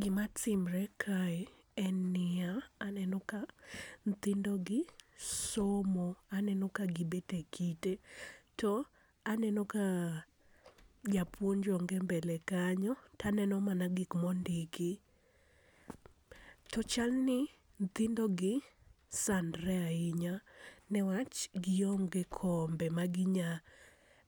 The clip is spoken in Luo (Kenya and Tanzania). Gi ma timre kae en ni ya, aneno ka nyithindo gi somo aneno ka gi bet e kite, to aneno ka japuonj onge mbele knyo to aneno mana gik ma ondiki, to chal ni nyithindo gi sandre ainya ne wach gi onge kombe ma gi nya